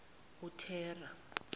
uthera